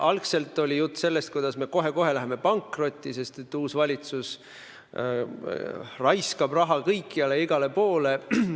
Algul oli jutt sellest, kuidas me kohe-kohe läheme pankrotti, sest uus valitsus raiskab raha kõikjale ja igale poole.